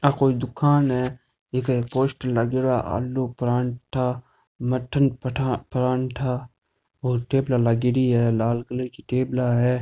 आ कोई दुकान है इक एक पोस्टर लागेड़ो है आलू पराठा मटन पठा पराठा और टेबला लागेड़ी है लाल कलर की टेबला है।